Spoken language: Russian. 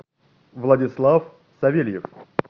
владислав савельев